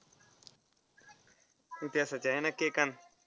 इतिहासाचे आहे ना केकांत.